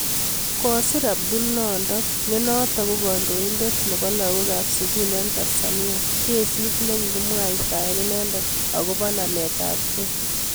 Kosir apdul nondo nenotok ko kandoindet nep lagok AP sugul eng Tansania kesiit nekikimwaitae inendet Ako nameet ap kei